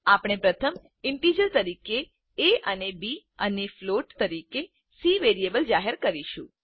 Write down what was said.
આપણે પ્રથમ ઈન્ટીજર તરીકે એ અને બી અને ફ્લોટ તરીકે cવેરિયેબલ જાહેર કરીશું